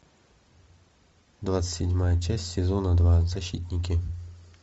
двадцать седьмая часть сезона два защитники